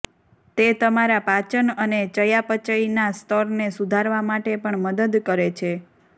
તે તમારા પાચન અને ચયાપચયના સ્તરને સુધારવા માટે પણ મદદ કરે છે